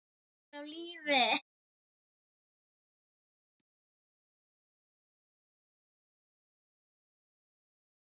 En hvað ertu að gera hérna?